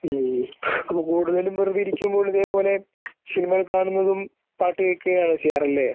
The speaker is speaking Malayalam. ങും. അപ്പോൾ കൂടുതലും വെറുതെയിരിക്കുമ്പോൾ ഇതേപോലെ സിനിമയൊക്കെ കാണുന്നതും പാട്ട് കേൾക്കുകയുമാണ് ചെയ്യാറല്ലേ .